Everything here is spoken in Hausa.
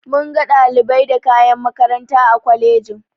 Munga ɗalibai da kayan makaranta a kwalejin.